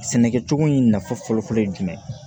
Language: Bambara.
Sɛnɛkɛcogo in nafa fɔlɔfɔlɔ ye jumɛn ye